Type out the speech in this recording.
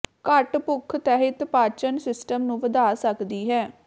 ਘੱਟ ਭੁੱਖ ਤਹਿਤ ਪਾਚਨ ਸਿਸਟਮ ਨੂੰ ਵਧਾ ਸਕਦੀ ਹੈ